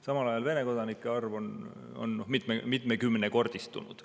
Samal ajal Vene kodanike arv on mitmekümnekordistunud.